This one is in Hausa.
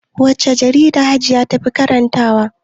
Wacce jarida hajiya tafi karanta wa?